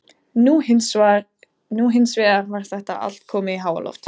Nú hins vegar var þetta allt komið í háaloft.